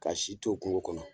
Ka si to kungo kɔnɔ